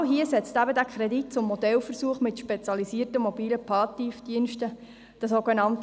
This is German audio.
Genau hier setzt dieser Kredit für den Modellversuch mit den spezialisierten MPD an.